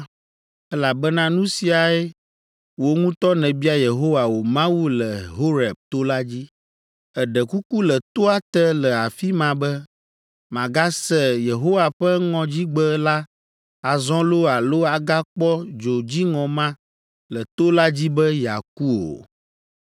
elabena nu siae wò ŋutɔ nèbia Yehowa wò Mawu le Horeb to la dzi. Èɖe kuku le toa te le afi ma be, màgase Yehowa ƒe ŋɔdzigbe la azɔ loo alo agakpɔ dzo dziŋɔ ma le to la dzi be yeaku o.